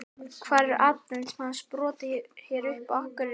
Hvar eru atvinnumennirnir sem hafa sprottið upp hér á Akureyri?